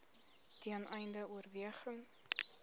ten einde oorweging